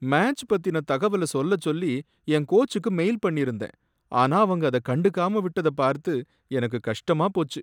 match பத்தின தகவல் சொல்லச் சொல்லி என் கோச்சுக்கு மெயில் பண்ணிருந்தேன், ஆனா அவங்க அத கண்டுக்காம விட்டத பார்த்து எனக்கு கஷ்டமா போச்சு